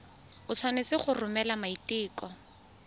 o tshwanetse go romela maiteko